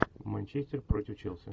манчестер против челси